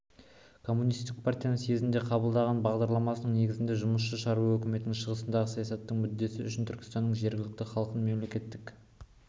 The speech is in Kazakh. коммунистік партияның съезде қабылдаған бағдарламасының негізінде жұмысшы-шаруа өкіметінің шығыстағы саясатының мүддесі үшін түркістанның жергілікті халқын мемлекет